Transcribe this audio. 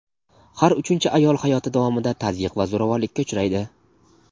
har uchinchi ayol hayoti davomida tazyiq va zo‘ravonlikka uchraydi.